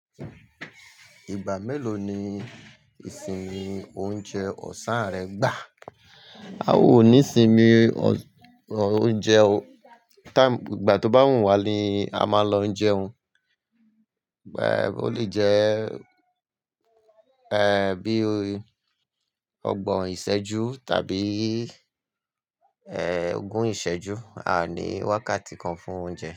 Ìgbà mélòó ni ìsinmi oúnjẹ ọ̀sán rẹ gbà? A ò ní sinmi oúnjẹ o. Time, ìgbà tó bá wùn wá ni a máa lọ jẹun. Ẹ̀, ó lè jẹ́, ẹ́, bí i ọgbọ̀n ìṣẹ́jú tàbí, ẹ́, ogún ìṣẹ́jú. A ò ní wákàtí kan fún oúnjẹ.